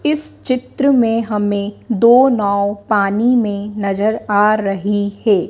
इस चित्र में हमें दो नाव पानी में नजर आ रही है।